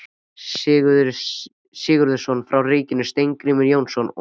Sigurðsson frá ríkinu, Steingrímur Jónsson og